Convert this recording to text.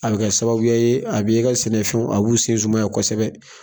A bi kɛ sababuya ye a b'i ka sɛnɛfɛnw a b'u sen zumanya kosɛbɛ.